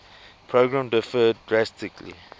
program differed drastically